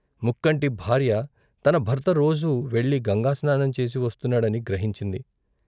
ముక్కంటి భార్య తన భర్త రోజూ వెళ్ళి గంగా స్నానంచేసి వస్తున్నా డని గ్రహించింది.